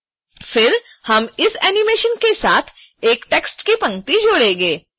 फिर हम इस एनीमेशन के साथ एक टेक्स्ट की पंक्ति जोड़ेंगे